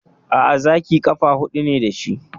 Aa, Zaki ƙafa hudu ne dashi